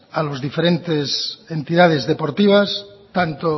a las diferentes entidades deportivas tanto